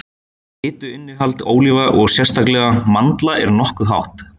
Fituinnihald ólíva og sérstaklega mandla er nokkuð hátt.